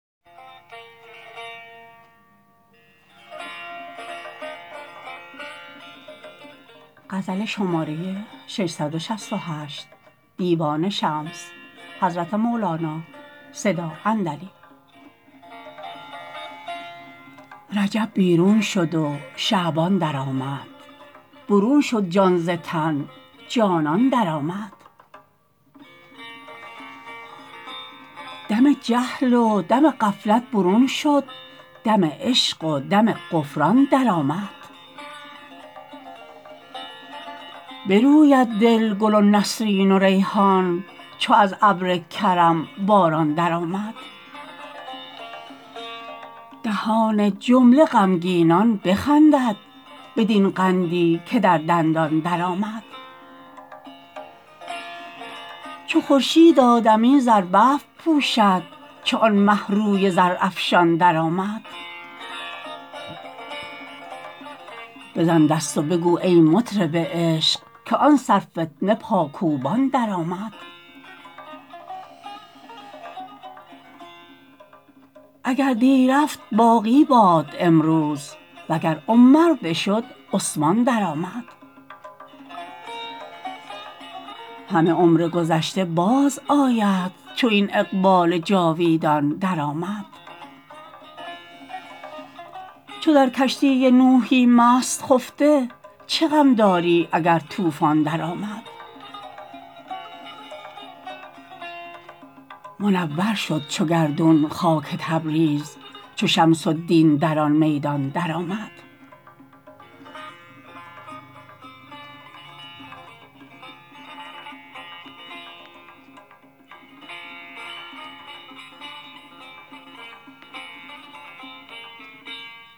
رجب بیرون شد و شعبان درآمد برون شد جان ز تن جانان درآمد دم جهل و دم غفلت برون شد دم عشق و دم غفران درآمد بروید دل گل و نسرین و ریحان چو از ابر کرم باران درآمد دهان جمله غمگینان بخندد بدین قندی که در دندان درآمد چو خورشید آدمی زربفت پوشد چو آن مه روی زرافشان درآمد بزن دست و بگو ای مطرب عشق که آن سرفتنه پاکوبان درآمد اگر دی رفت باقی باد امروز وگر عمر بشد عثمان درآمد همه عمر گذشته بازآید چو این اقبال جاویدان درآمد چو در کشتی نوحی مست خفته چه غم داری اگر طوفان درآمد منور شد چو گردون خاک تبریز چو شمس الدین در آن میدان درآمد